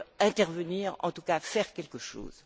intervenir, en tout cas faire quelque chose.